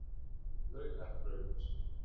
Laugarbraut